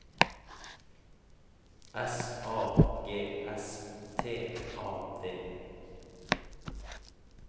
S A G S T A D